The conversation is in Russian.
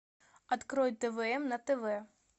открой твн на тв